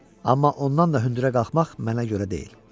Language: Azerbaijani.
Amma ondan da hündürə qalxmaq mənə görə deyil.